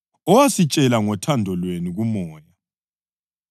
owasitshela ngothando lwenu kuMoya.